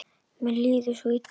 Mér líður svo illa.